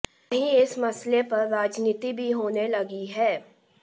वहीं इस मसले पर राजनीति भी होने लगी है